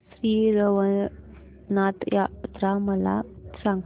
श्री रवळनाथ यात्रा मला सांग